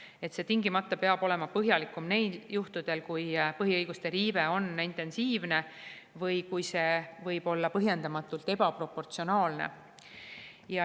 See peab tingimata olema põhjalikum neil juhtudel, kui põhiõiguste riive on intensiivne või kui see võib olla põhjendamatult ebaproportsionaalne.